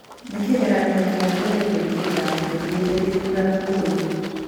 Nĩ kĩgeranio kĩa mbere gwĩkĩka tũthiĩte gĩthurano kũri Bw .